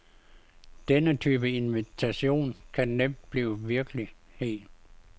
Denne type invitation kan nemt blive virkelighed.